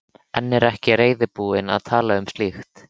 En er ekki reiðubúin að tala um slíkt.